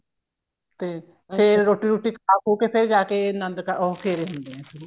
ਤੇ ਫ਼ੇਰ ਰੋਟੀ ਰੁਟੀ ਖਾ ਖੁ ਕੇ ਫ਼ੇਰ ਜਾ ਕੇ ਅਨੰਦ ਕਾਰਜ ਉਹ ਫੇਰੇ ਹੁੰਦੇ ਨੇ